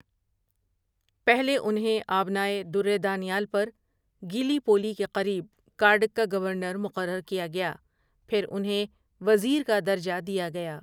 پہلے انھیں آبنائے درِ دانیال پر گیلی پولی کے قریب کارڈک کا گورنر مقرر کیا گیا پھر انہیں وزیر کا درجہ دیا گیا ۔